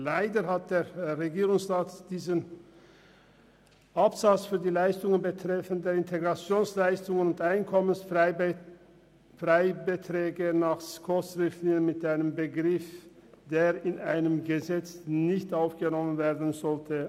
Leider hat der Regierungsrat diesen Absatz für die Leistungen betreffend die IZU und EFB gemäss SKOS-Richtlinien mit einem Begriff ausgestaltet, der in einem Gesetz nicht aufgenommen werden sollte.